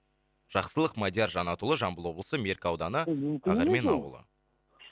жақсылық мадияр жанатұлы жамбыл облысы мерке ауданы ол мүмкін емес ол ақермен ауылы